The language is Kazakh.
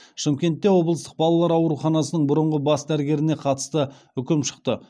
шымкентте облыстық балалар ауруханасының бұрынғы бас дәрігеріне қатысты үкім шықты